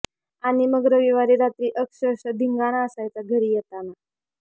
आणि मग रविवारी रात्री अक्षरशः धिंगाणा असायचा घरी येताना